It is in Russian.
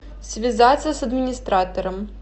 связаться с администратором